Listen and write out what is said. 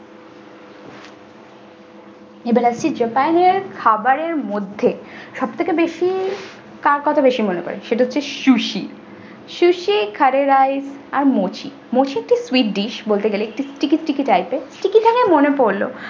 এবার আসছি japan এর খাবারের মধ্যে সব থেকে বেশি কার কথা বেশি মনে পরে সেটা হচ্ছে susisusikharerai আর mochi mochi একটি sweet dish বলতে গেলে একটু sticky sticky type এর sticky বলতে মনে পড়লো।